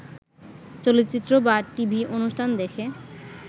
চলচ্চিত্র বা টিভি অনুষ্ঠান দেখে